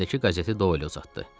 Əlindəki qəzeti Doy elə uzatdı.